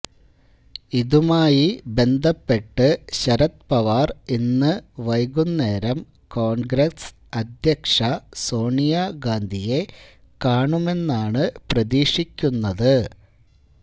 ഇതുമായി ബന്ധപ്പെട്ട് ശരദ് പവാർ ഇന്ന് വൈകുന്നേരം കോൺഗ്രസ് അധ്യക്ഷ സോണിയ ഗാന്ധിയെ കാണുമെന്നാണ് പ്രതീക്ഷിക്കുന്നത്